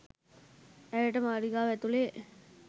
ඇයට මාලිගාව ඇතුළේ